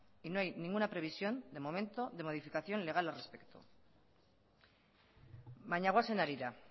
y no hay ninguna previsión de momento de modificación legal al respecto baina goazen harira